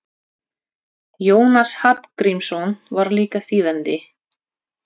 Jónas Hallgrímsson var líka þýðandi.